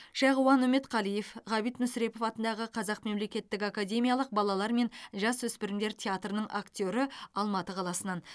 шағуан үмбетқалиев ғабит мүсірепов атындағы қазақ мемлекеттік академиялық балалар мен жасөспірімдер театрының актері алматы қаласынан